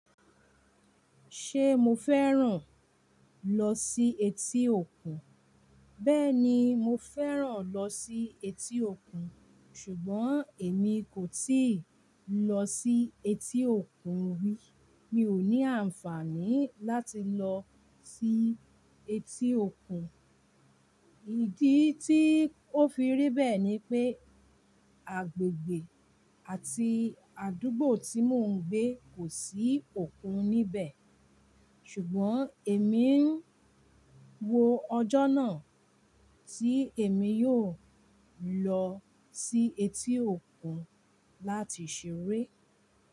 Ṣé mo fẹ́ràn lọ sí etí òkun? Bẹ́ẹ̀ni, mo fẹ́ràn lọ sí etí òkun, ṣùgbọ́n èmi kò tíì lọ sí etí òkun rí. Mi ò ní àǹfààní láti lọ sí etí òkun. Ìdí tí ó fi rí bẹ́ẹ̀ ni pé agbègbè àti àdúgbò tí mò ń gbé kò sí òkun níbẹ̀. Ṣùgbọ́n èmi ń wo ọjọ́ náà tí èmi yóò lọ sí etí òkun láti ṣeré.